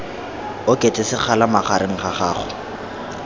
oketse sekgala magareng ga gago